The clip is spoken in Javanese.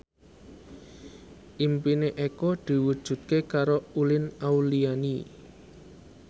impine Eko diwujudke karo Uli Auliani